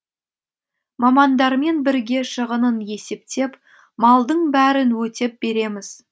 мамандармен бірге шығынын есептеп малдың бәрін өтеп береміз